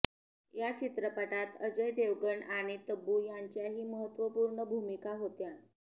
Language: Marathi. या चित्रपटात अजय देवगन आणि तब्बू यांच्याही महत्त्वपूर्ण भूमिका होत्या